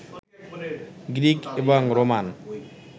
Greek এবং Roman